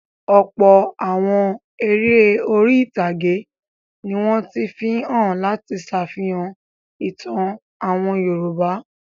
Ọ̀pọ̀ àwọn eré orí-ìtàgé ni wọ́n ti fi hàn láti ṣàfihàn ìtàn àwọn Yorùbá.